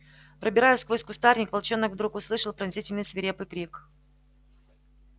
пробираясь сквозь кустарник волчонок вдруг услышал пронзительный свирепый крик